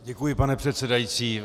Děkuji, pane předsedající.